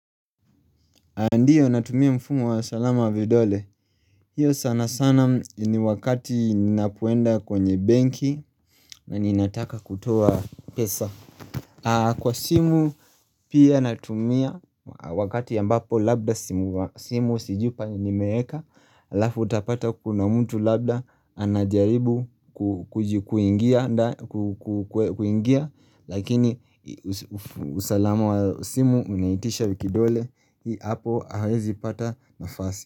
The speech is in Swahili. Andiyo natumia mfumo wa salama vidole hiyo sana sana ni wakati ni napoenda kwenye benki na ni nataka kutoa pesa Kwa simu pia natumia wakati ya ambapo labda simu sijupa ni meeka Lafu utapata kuna mtu labda anajaribu kuingia Lakini usalama wa simu unaitisha vikidole Hii hapo hawezi pata nafasi.